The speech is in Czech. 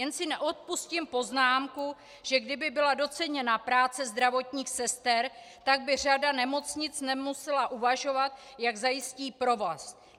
Jen si neodpustím poznámku, že kdyby byla doceněna práce zdravotních sester, tak by řada nemocnic nemusela uvažovat, jak zajistí provoz.